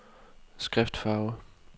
skriftfarve